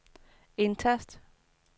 indtast